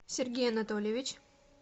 сергей анатольевич